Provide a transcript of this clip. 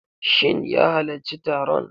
Shin ya halacci taron?